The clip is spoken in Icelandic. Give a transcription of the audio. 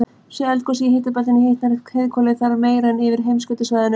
sé eldgosið í hitabeltinu hitnar heiðhvolfið þar meira en yfir heimskautasvæðunum